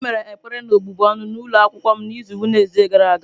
Anyị mere ekpere na-ọbụbụ ọnụ n'ụlọ akwụkwọ m n'izu Wednesde gara aga.